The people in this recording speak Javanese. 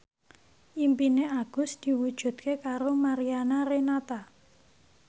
impine Agus diwujudke karo Mariana Renata